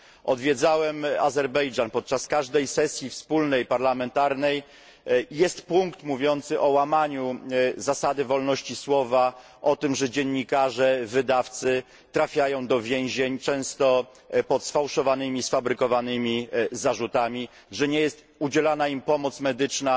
Odwiedzałem Azerbejdżan podczas każdej wspólnej sesji parlamentarnej. Jest punkt mówiący o łamaniu zasady wolności słowa, o tym, że dziennikarze, wydawcy, trafiają do więzień często pod sfałszowanymi zarzutami, że nie jest im udzielana pomoc medyczna,